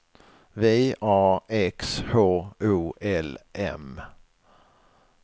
V A X H O L M